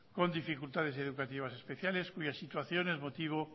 con dificultades educativas especiales cuya situación es motivo